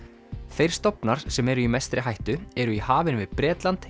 þeir stofnar sem eru í mestri hættu eru í hafinu við Bretland